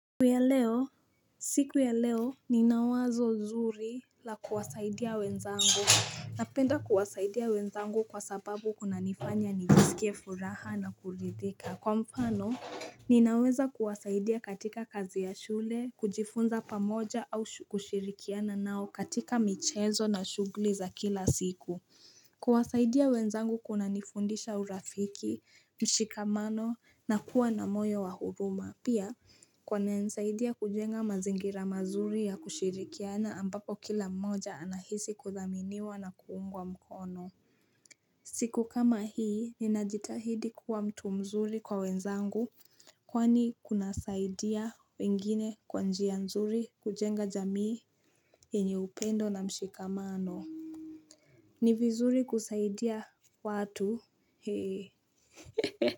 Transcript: Siku ya leo ninawazo zuri la kuwasaidia wenzangu. Napenda kuwasaidia wenzangu kwa sababu inanifanya nijisikie furaha na kuridhika, kwa mfano Ninaweza kuwasaidia katika kazi ya shule, kujifunza pamoja au kushirikiana nao katika michezo na shughuli za kila siku. Kuwasaidia wenzangu kunanifundisha urafiki, mshikamano na kuwa na moyo wa huruma. Pia kwangu inanisaidia kujenga mazingira mazuri ya kushirikiana ambapo kila mmoja anahisi kuthaminiwa na kuungwa mkono. Siku kama hii ninajitahidi kuwa mtu mzuri kwa wenzangu kwani kunasaidia wengine kwa njia nzuri kujenga jamii enye upendo na mshikamano ni vizuri kusaidia watu eeh.